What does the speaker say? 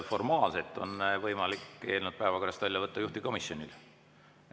Formaalselt on võimalik eelnõu päevakorrast välja võtta juhtivkomisjonil.